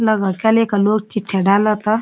लगा का लोग चिट्ठी डालदा ता।